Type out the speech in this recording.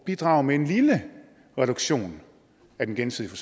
bidrage med en lille reduktion af den gensidige